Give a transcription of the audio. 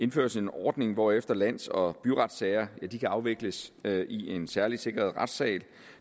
indføres en ordning hvorefter lands og byretssager kan afvikles i en særligt sikret retssal